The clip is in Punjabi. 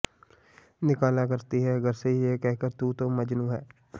ਨਿਕਾਲਾ ਕਰਤੀ ਹੈ ਘਰ ਸੇ ਯੇ ਕਹਕਰ ਤੂ ਤੋ ਮਜਨੂੰ ਹੈ